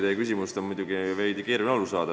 Teie küsimusest on muidugi veidi keeruline aru saada.